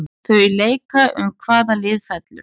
Þau leika um hvaða lið fellur.